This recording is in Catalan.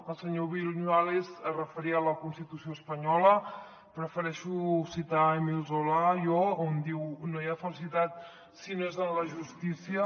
el senyor viñuales es referia a la constitució espanyola prefereixo citar émile zola jo que diu no hi ha felicitat si no és en la justícia